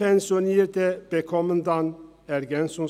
Dann erhalten Frühpensionierte EL.